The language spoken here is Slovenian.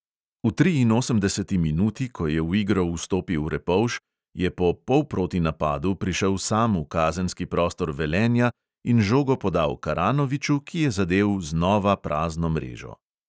V triinosemdeseti minuti, ko je v igro vstopil repovž, je po polprotinapadu prišel sam v kazenski prostor velenja in žogo podal karanoviču, ki je zadel znova prazno mrežo.